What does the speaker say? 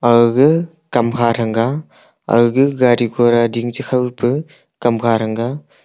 aga gaga kamkha thanga aga gaga gari gora dingpa kamkha thanga.